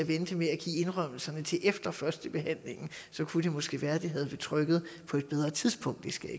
vente med at give indrømmelserne til efter førstebehandlingen så kunne det måske være at det havde været betryggende på bedre tidspunkt det skal